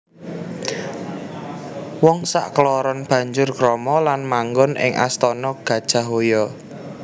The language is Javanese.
Wong sakloron banjur krama lan manggon ing astana Gajahhoya